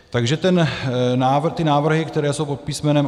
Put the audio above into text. Takže ty návrhy, které jsou pod písm.